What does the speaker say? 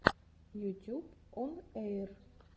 ютюб он эйр